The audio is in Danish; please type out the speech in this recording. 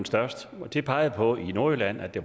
størst og den pegede på at i nordjylland er det